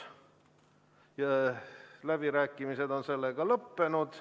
Läbirääkimised on sellega lõppenud.